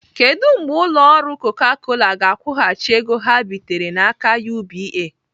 Kedụ mgbe ụlọ ọrụ Coca Cola ga-akwụghachi ego ha bitere n'aka UBA?